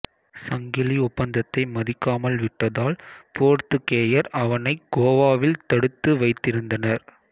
சங்கிலி ஒப்பந்தத்தை மதிக்காமல் விட்டதால் போர்த்துக்கேயர் அவனைக் கோவாவில் தடுத்து வைத்திருந்தனர்